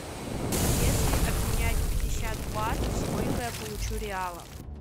если обменять пятьдесят батов сколько я получу реалов